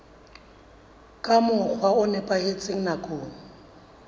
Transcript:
ka mokgwa o nepahetseng nakong